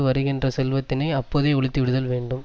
வருகின்ற செல்வத்தினை அப்போதே ஒழித்துவிடுதல் வேண்டும்